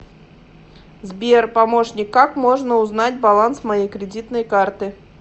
сбер помощник как можно узнать баланс моей кредитной карты